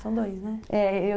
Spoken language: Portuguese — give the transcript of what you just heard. São dois, né? É, eu